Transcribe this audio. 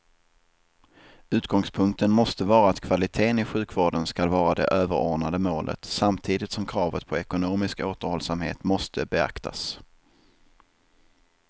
Utgångspunkten måste vara att kvalitén i sjukvården skall vara det överordnade målet samtidigt som kravet på ekonomisk återhållsamhet måste beaktas.